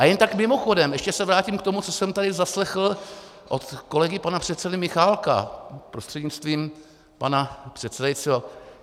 A jen tak mimochodem, ještě se vrátím k tomu, co jsem tady zaslechl od kolegy pana předsedy Michálka prostřednictvím pana předsedajícího.